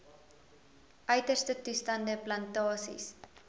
uiterste toestande plantasies